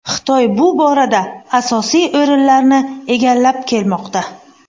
Xitoy bu borada asosiy o‘rinlarni egallab kelmoqda.